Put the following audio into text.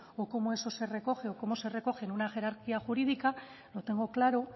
o cómo eso se recoge o cómo se recoge en una jerarquía jurídica lo tengo claro